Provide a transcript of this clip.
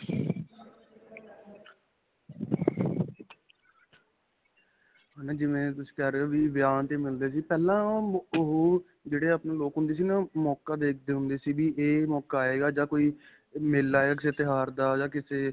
ਹੈ ਨਾ. ਜਿਵੇਂ ਤੁਸੀਂ ਕਿਹ ਰਹੇ ਹੋ ਵੀ ਜਿਵੇਂ ਵਿਆਹ 'ਤੇ ਮਿਲਦੇ ਸੀ, ਪਹਿਲਾਂ ਓਹ ਜਿਹੜੇ ਆਪਣੇ ਲੋਕ ਹੁੰਦੇ ਸੀ ਨਾ ਮੋਕਾ ਦੇਖਦੇ ਹੁੰਦੇ ਸੀ ਵੀ ਇਹ ਮੋਕਾ ਆਏਗਾ ਜਾਂ ਕੋਈ ਮੇਲਾ ਜਾਂ ਕਿਸੇ ਤਿਉਹਾਰ ਦਾ ਜਾਂ ਕਿਸੇ.